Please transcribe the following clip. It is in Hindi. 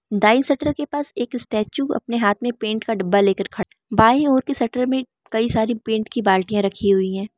दाईं शटर के पास एक स्टैचू अपने हाथ में पेंट का डब्बा लेकर बाईं ओर की शटर में कई सारी पेंट की बाल्टियां रखी हुई हैं।